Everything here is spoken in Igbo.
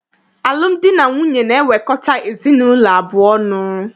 Alụmdi na nwunye na-ewekọta ezinaụlọ abụọ ọnụ.